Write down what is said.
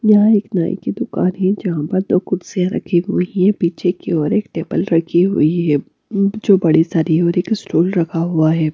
यहां एक नई की दुकान है जहां पर दो कुर्सियां रखी हुई है पीछे की और एक टेबल रखी हुई है जो बड़ी सारी है और एक स्टॉल रखा हुआ है।